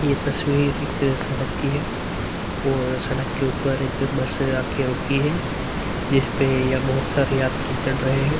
ये तस्वीर एक सड़क की है और सड़क के उपर एक बस आके रुकी है। जिसपे यह बहोत सारे यात्री चढ़ रहे हैं।